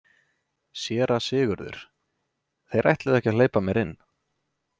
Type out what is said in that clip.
SÉRA SIGURÐUR: Þeir ætluðu ekki að hleypa mér inn.